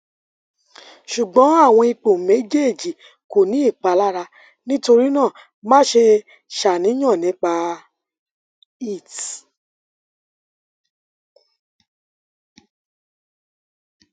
ṣugbọn awọn ipo mejeeji ko ni ipalara nitorinaa maṣe ṣàníyàn nipa it